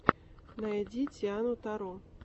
найди тиану таро